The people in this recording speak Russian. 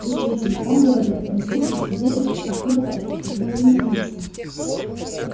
действительно он говорил но звуки исходили откуда-то изнутри механизма